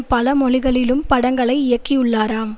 பல மொழிகளிலும் படங்களை இயக்கியுள்ளாராம்